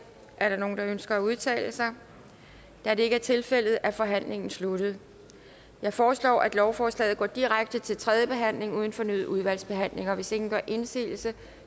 er der nogen der ønsker at udtale sig da det ikke er tilfældet er forhandlingen sluttet jeg foreslår at lovforslaget går direkte til tredje behandling uden fornyet udvalgsbehandling hvis ingen gør indsigelse